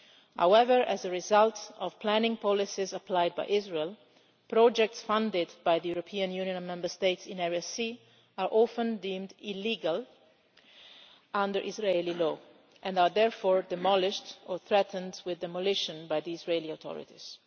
However, as a result of planning policies applied by Israel, projects funded by the European Union and Member States in Area C are often deemed illegal under Israeli law and are therefore demolished or threatened with demolition by the Israeli authorities.